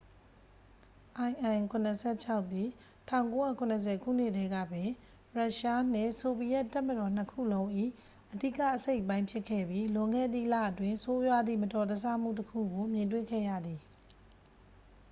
il-76 သည် 1970 ခုနှစ်တည်းကပင် ရုရှားနှင့် ဆိုဗီယက်တပ်မတော်နှစ်ခုလုံး၏ အဓိကအစိတ်အပိုင်းဖြစ်ခဲ့ပြီး လွန်ခဲ့သည့်လအတွင်း ဆိုးရွားသည့် မတော်တဆမှုတစ်ခုကို မြင်တွေ့ခဲ့ရသည်